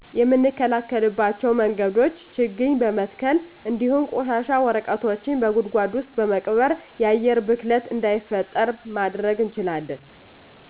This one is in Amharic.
የምንከላከልባቸው መንገዶቾ ችግኝ በመትከል እንዱሁም ቆሻሻ ወረቀቶችን በጉድጓድ ውስጥ በመቅበር። የአየር ብክለት እዳይፈጠር ማድረግ እንችላለን።